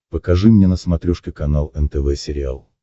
покажи мне на смотрешке канал нтв сериал